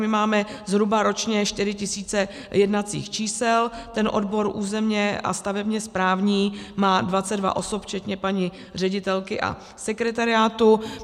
My máme zhruba ročně 4 tisíce jednacích čísel, ten odbor územně a stavebně správní má 22 osob včetně paní ředitelky a sekretariátu.